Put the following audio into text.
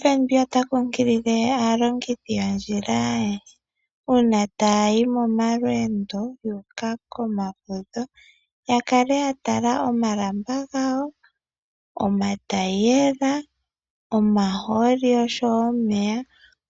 FNB ota kunkilile aalongithi yoondjila uuna taya yi momalweendo ya uka komafudho ya kale ya tala omalamba gawo, omataiyela, omahoolo osho wo omeya,